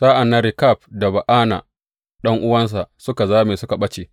Sa’an nan Rekab da Ba’ana ɗan’uwansa suka zame suka ɓace.